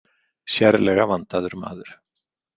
Sérlega vandaður maður.